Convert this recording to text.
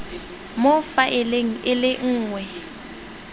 mo faeleng e le nngwe